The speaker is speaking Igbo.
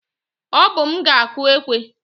Ọ bụ m ga-akụ ekwe